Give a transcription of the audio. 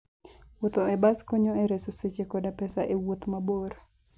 Wuotho e bas konyo e reso seche koda pesa e wuoth mabor.